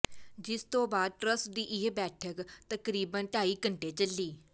ਜਿਸ ਤੋਂ ਬਾਅਦ ਟਰੱਸਟ ਦੀ ਇਹ ਬੈਠਕ ਤਕਰੀਬਨ ਢਾਈ ਘੰਟੇ ਚੱਲੀ